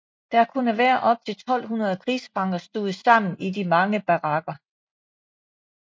Der kunne være op til 1200 krigsfanger stuvet sammen i de mange barakker